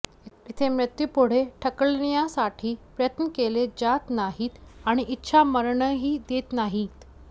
इथे मृत्यू पुढे ढकलण्यासाठी प्रयत्न केले जात नाहीत आणि इच्छामरणही देत नाहीत